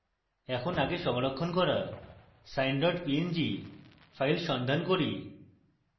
এখন আগে সংরক্ষণ করা sine png file সন্ধান করি